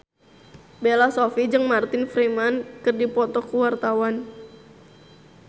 Bella Shofie jeung Martin Freeman keur dipoto ku wartawan